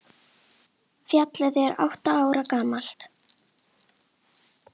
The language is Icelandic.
Félagið er átta ára gamalt.